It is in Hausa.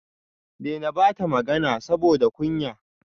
Dena bata magana saboda kunya